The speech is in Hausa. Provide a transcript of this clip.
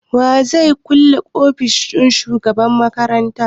Wa zai kulle ofishin shugaban makaranta?